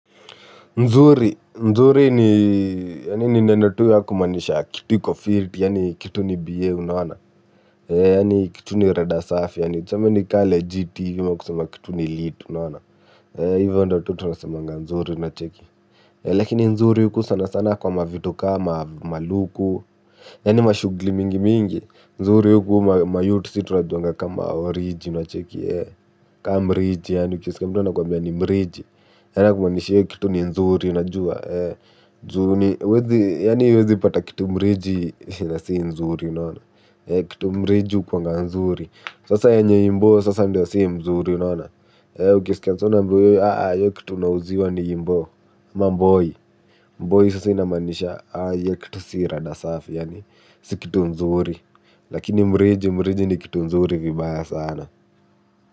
Nzuri ni yaani ni neno tu ya kumaanisha kitu iko fiti yaani kitu ni biee unaona yaani kitu ni rada safi yaani tuseme ni kama legit hivi ama kusema kitu ni lit unaona hivyo ndiyo tu tunasemanga nzuri unacheki. Lakini nzuri huku sana sana kwa mavitu kama maluku. Yaani mashughuli mingi mingi nzuri huku mayout sisi tunajuanga kama oriji unacheki kama mriji yaani ukisikia mtu anakwambia ni mriji. Yaani kumaanisha hiyo kitu ni nzuri unajua juu huwezi yaani huwezi pata kitu mriji na si nzuri unaona kitu mriji hukuanga nzuri sasa yenye imbo sasa ndiyo si mzuri unaona. Ukisikia msee unaambiwa hiyo kitu unauziwa ni imbo ama mboi mboi sasa inamaanisha hiyo kitu si rada safi yaani si kitu nzuri lakini mriji mriji ni kitu nzuri vibaya sana.